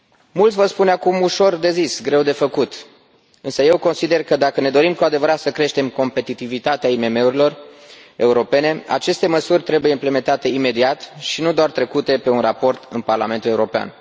Mulți vor spune acum Ușor de zis, greu de făcut, însă eu consider că dacă ne dorim cu adevărat să creștem competitivitatea IMM urilor europene, aceste măsuri trebuie implementate imediat și nu doar trecute pe un raport în Parlamentul European.